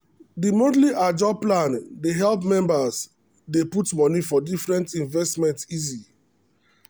the monthly ajo plan dey help members dey put money for different investment easy.